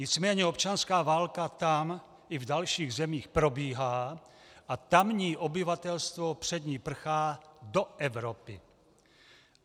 Nicméně občanská válka tam i v dalších zemích probíhá a tamní obyvatelstvo před ní prchá do Evropy.